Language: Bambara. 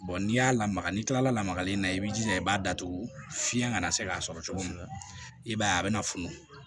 n'i y'a lamaga ni kilalamagalen ye i b'i jija i b'a datugu fiɲɛ kana se k'a sɔrɔ cogo min na i b'a ye a bɛna funu